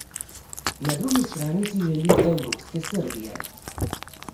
Na drugi strani si želi evropske Srbije.